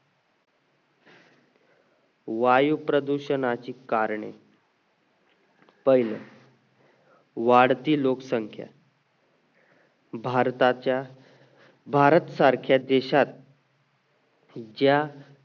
वायू प्रदूषणाचे कारणे पहिले वाढती लोकसंख्या भारताच्या भारत सारख्या देशात जय